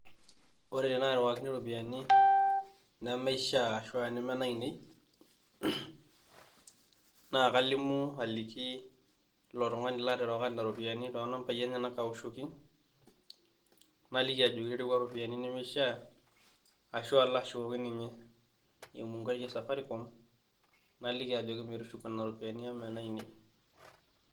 Ore tenairuwakini iropiani nemeishaa anaa neme nainei naa kalimu aliki, ilo tung'ani laaterewaka too nambai enyena aoshoki naliki ajoki iruwa iropiani nemeishaa, ashu alo ashukoki ninye emunkai e Safaricom naliki ajoki metushuku nena ropiani amu mee nainei.